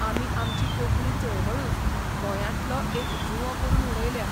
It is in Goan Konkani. आमी आमची कोंकणी चळवळूच गोंयांतलो एक जुंवो करून उडयल्या.